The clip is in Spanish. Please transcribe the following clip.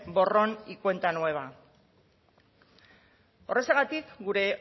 borrón y cuenta nueva horrexegatik gure